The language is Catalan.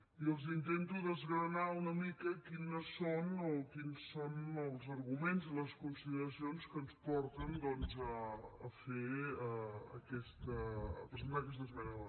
i els intento desgranar una mica quins són els arguments i les consideracions que ens porten doncs a presentar aquesta esmena a la totalitat